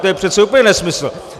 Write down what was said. To je přece úplně nesmysl.